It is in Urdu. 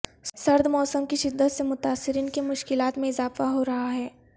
سرد موسم کی شدت سے متاثرین کی مشکلات میں اضافہ ہورہا ہے